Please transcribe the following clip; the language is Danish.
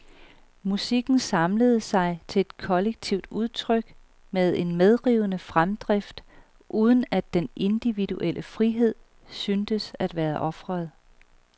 Musikken samlede sig til et kollektivt udtryk med en medrivende fremdrift uden at den individuelle frihed syntes at være ofret.